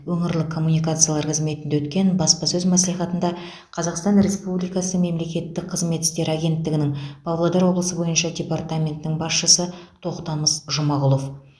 өңірлік коммуникациялар қызметінде өткен баспасөз мәслихатында қазақстан республикасы мемлекеттік қызмет істері агенттігінің павлодар облысы бойынша департаментінің басшысы тоқтамыс жұмағұлов